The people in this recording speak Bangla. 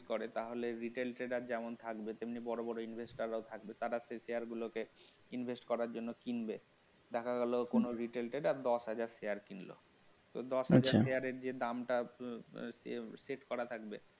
করে তাহলে retail trader যেমন থাকবে তেমনি বড়-বড় investor রা থাকবে তারা তাদের share গুলোকে Invest করার জন্য কিনবে দেখা গেল কোন retail trader দশ হাজার share কিনল তো আচ্ছা তো দশ হাজার share রের যে দামটা আহ আহ set করা থাকবে